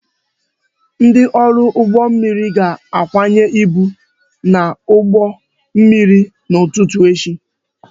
Ndị ọrụ ụgbọ mmiri ga-akwanye ibu n'ụgbọ mmiri n'ụtụtụ echi